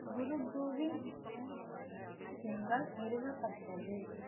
குரு கோவிந்த் சிங்கால் நிறுவப்பட்டது